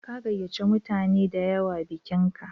Ka gayyace mutane da yawa bikinka?